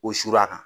O sur'a kan